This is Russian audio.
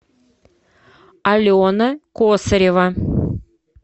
алена косарева